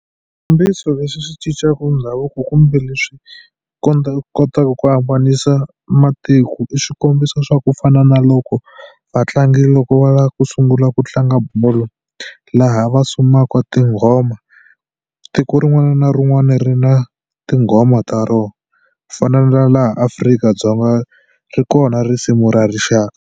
Swikombiso leswi swi cincaka ndhavuko kumbe leswi kotaka ku avanisa matiko i swikombiso swa ku fana na loko vatlangi loko va lava ku sungula ku tlanga bolo laha va sumaka tinghoma tiko rin'wana na rin'wana ri na tinghoma ku fana na laha Afrika-Dzonga ri kona risimu ra rixaka.